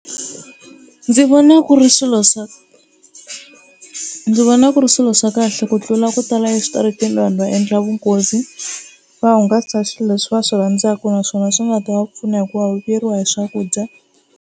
Ndzi vona ku ri swilo swa ndzi vona ku ri swilo swa kahle ku tlula ku tala eswitarateni laha hi nga endla vunghozi va hungasa hi swilo leswi va swi rhandzaka naswona swi nga ta va pfuna hikuva va vuyeriwa hi swakudya.